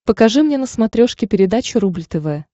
покажи мне на смотрешке передачу рубль тв